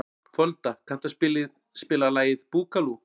Folda, kanntu að spila lagið „Búkalú“?